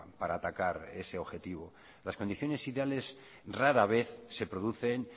para atacar ese objetivo las condiciones ideales rara vez se producen